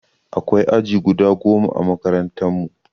Akwai aji guda goma ã makarantan mu.